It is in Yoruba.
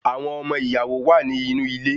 Awọn ọmọ ìyàwó wá ni inú ilé